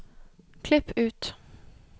Klipp ut